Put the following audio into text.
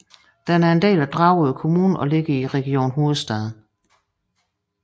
Den er en del af Dragør Kommune og ligger i Region Hovedstaden